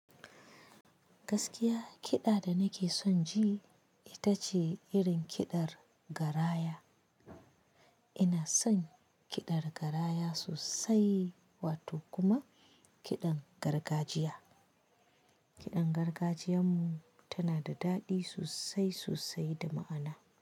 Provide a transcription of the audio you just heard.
Gaskiya kiɗa da nake son ji ita ce irin kiɗar garaya. Ina son kiɗar garaya sosai wato kuma kiɗan gargajiya. Kiɗan gargajiyan mu tana da daɗi sosai sosai da ma'ana.